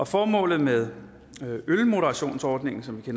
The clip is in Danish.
formålet med ølmoderationsordningen som vi